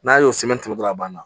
N'a y'o dɔrɔn a banna